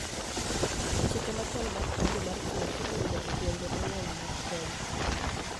Chike machon mag kido mar chuech iluongo e gwenge mang'eny mag Kenya